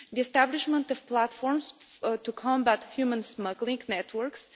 the establishment of platforms to combat human smuggling networks